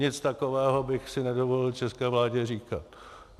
Nic takového bych si nedovolil české vládě říkat.